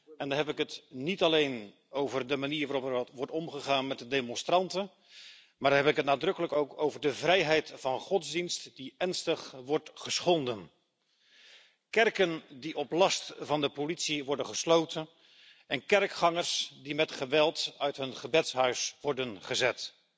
En dan heb ik het niet alleen over de manier waarop wordt omgegaan met de demonstranten, maar dan heb ik het nadrukkelijk ook over de vrijheid van godsdienst, die ernstig wordt geschonden kerken die op last van de politie worden gesloten en kerkgangers die met geweld uit hun gebedshuis worden gezet.